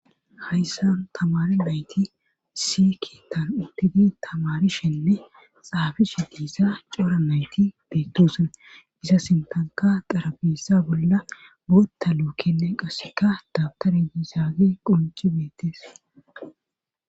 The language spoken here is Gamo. Hayssan tamari dayti siki tan uttidi tamarishenne xaafishe diissa cora nayti beettosan isa sintanka darabissa bolla bota luukenne qasseka dabtare diisaage qunci beettes.